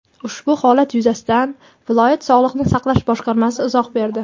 Ushbu holat yuzasidan viloyat Sog‘liqni saqlash boshqarmasi izoh berdi.